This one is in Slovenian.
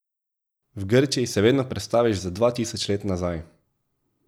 V Grčiji se vedno prestaviš za dva tisoč let nazaj.